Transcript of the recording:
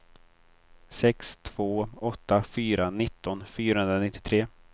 sex två åtta fyra nitton fyrahundranittiotre